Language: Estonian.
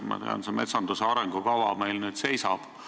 Ma tean, et metsanduse arengukava praegu seisab.